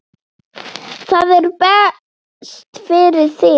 Það er best fyrir þig.